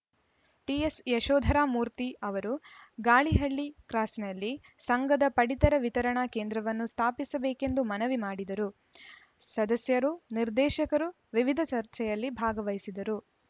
ಟಿಎಸ್‌ಯಶೋಧರಮೂರ್ತಿ ಅವರು ಗಾಳಿಹಳ್ಳಿ ಕ್ರಾಸ್‌ನಲ್ಲಿ ಸಂಘದ ಪಡಿತರ ವಿತರಣಾ ಕೇಂದ್ರವನ್ನು ಸ್ಥಾಪಿಸಬೇಕೆಂದು ಮನವಿ ಮಾಡಿದರು ಸದಸ್ಯರು ನಿರ್ದೇಶಕರು ವಿವಿಧ ಚರ್ಚೆಯಲ್ಲಿ ಭಾಗವಹಿಸಿದ್ದರು